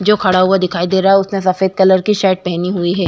जो खड़ा हुआ दिखाई दे रहा है। उसने सफ़ेद कलर की शर्ट पहनी हुई है।